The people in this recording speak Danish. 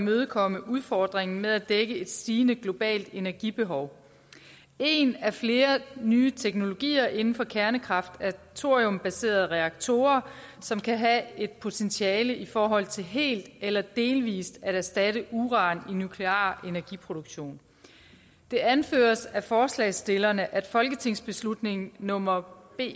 imødekomme udfordringen med at dække et stigende globalt energibehov en af flere nye teknologier inden for kernekraft er thoriumbaserede reaktorer som kan have et potentiale i forhold til helt eller delvis at erstatte uran i nuklear energiproduktion det anføres af forslagsstillerne at folketingsbeslutning nummer b